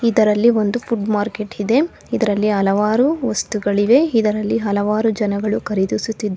ಇದರಲ್ಲಿ ಒಂದು food market ಇದೆ ಇದರಲ್ಲಿ ಹಲವಾರು ವಸ್ತುಗಳಿವೆ ಇದರಲ್ಲಿ ಹಲವಾರು ಜನಗಳು ಕರೀದಿಸುತ್ತಿದ್ದಾ.